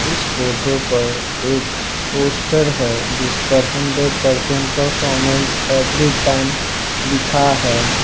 इस फोटो पर एक पोस्टर हैं जिस पर hundred percent performance every time लिखा है।